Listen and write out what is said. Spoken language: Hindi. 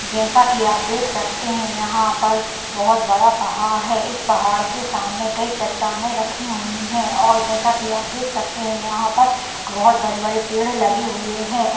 जैसा कि आप देख सकते हैं यहाँ पर बहुत बड़ा पहाड़ हैं इस पहाड़ के सामने कोई चट्टानें रखी हुई हैं और जैसा कि आप देख सकते हैं यहाँ पर बहुत बड़े-बड़े पेड़ लगे हुए हैं और --